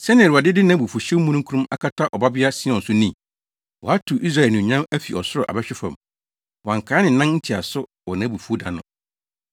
Sɛnea Awurade de nʼabufuwhyew mununkum akata Ɔbabea Sion so ni? Watow Israel anuonyam afi ɔsoro abɛhwe fam; wankae ne nan ntiaso wɔ nʼabufuw da no.